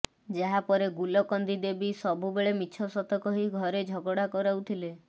ଯାହା ପରେ ଗୁଲକନ୍ଦୀ ଦେବୀ ସବୁ ବେଳେ ମିଛ ସତ କହି ଘରେ ଝଗଡ଼ା କରାଉଥିଲେ